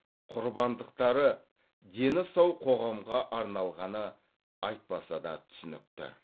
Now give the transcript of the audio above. құрбандықтары дені сау қоғамға арналғаны айтпаса да түсінікті